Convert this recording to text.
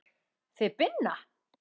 Þið Binna?